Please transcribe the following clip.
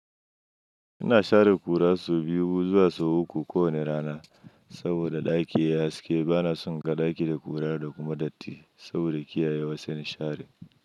Ina share ƙura sau biyu zuwa sau uku kowane rana saboda ɗaki yayi haske. Bana son inga ɗaki da ƙura da kuma datti saboda kiyaye wa zan share.